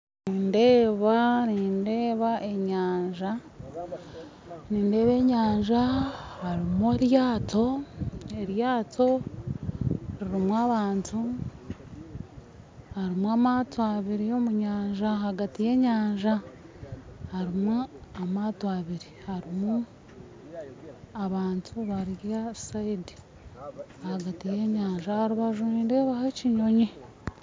Nindeeba enyanja, nindeeba enyanja harimu eryato eryato rurimu abantu harimu amaato abiri ahagati yennyanja harimu amaato abiri harimu abantu bari aharubaju aharubaju nindeebaho ekinyonyi